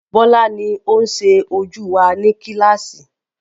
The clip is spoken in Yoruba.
Bọ́lá ni oun sẹ ojú wa ní kílàsì